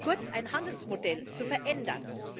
kurz ein Handelsmodell zu verändern.